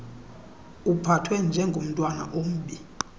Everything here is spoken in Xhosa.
uphathwe njengomntwana ombi